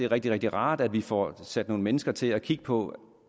rigtig rigtig rart at vi får sat nogle mennesker til at kigge på